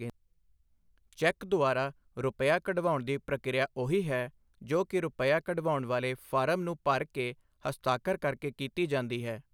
Check ਦੁਆਰਾ ਰੁਪੱਈਆ ਕਢਵਾਉਣ ਦੀ ਪ੍ਰਕਿਰਿਆ ਉਹੀ ਹੈ ਜੋ ਕਿ ਰੁਪੱਈਆ ਕਢਵਾਉਣ ਵਾਲੇ ਫਾਰਮ ਨੂੰ ਭਰ ਕੇ ਹਸਤਾਖਰ ਕਰਕੇ ਕੀਤੀ ਜਾਂਦੀ ਹੈ।